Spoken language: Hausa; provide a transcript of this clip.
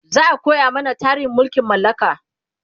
za'a koya mana tarihin mulkin mallaka